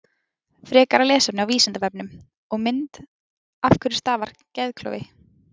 Frekara lesefni á Vísindavefnum og mynd Af hverju stafar geðklofi?